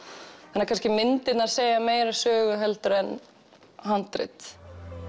þannig að myndirnar segja kannski meiri sögu en handrit